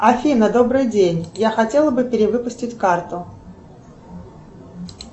афина добрый день я хотела бы перевыпустить карту